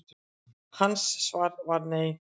Hans svar var nei.